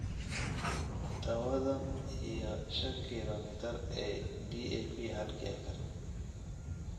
tawadhan iyo shan kilomitar ee DAP halkii acre.